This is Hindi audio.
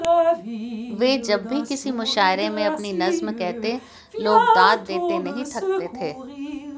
वे जब भी किसी मुशायरे में अपनी नज्म कहते लोग दाद देते नहीं थकते थे